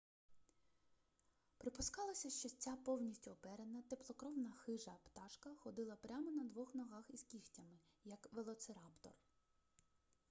припускалося що ця повністю оперена теплокровна хижа пташка ходила прямо на двох ногах із кігтями як велоцираптор